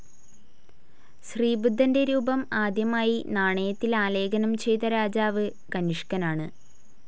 ശ്രീ ബുദ്ധൻ്റെ രൂപം ആദ്യമായി നാണയത്തിൽ ആലേഖനം ചെയ്ത രാജാവ് കനിഷ്കനാണ്.